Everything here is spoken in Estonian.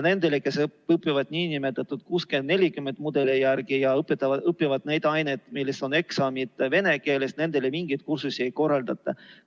Nendele, kes õpivad nn 60 : 40 mudeli järgi, ja õpivad neid aineid, milles on eksamid vene keeles, mingeid kursusi ei korraldata.